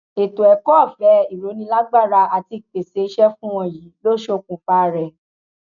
ètò ẹkọọfẹ ìrónílágbára àti ìpèsè iṣẹ fún wọn yìí ló ṣokùnfà rẹ